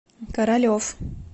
королев